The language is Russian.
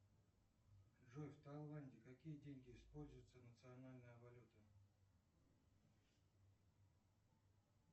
джой в тайланде какие деньги используются национальная валюта